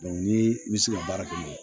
ni i bɛ se ka baara kɛ n'o ye